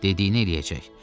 Dediyini eləyəcək.